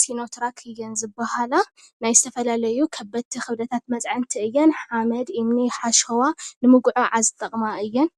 ሲኖትራክ እየን ዝብሃላ። ናይ ዝተፈላለዩ ከበድቲ ክብደታት መፅዐንቲ እየን። ሓመድ፣ እምኒ፣ ሓሸዋ ንምጉዕዓዝ ዝጠቕማ እየን።